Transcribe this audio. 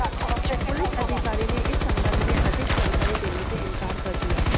police अधिकारी ने इस संबंध में अधिक जानकारी देने से इनकार कर दिया